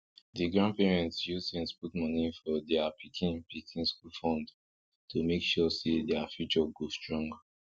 di grandparents use sense put moni for dia pikin pikin school fund to make sure say dia future go strong